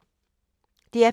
DR P2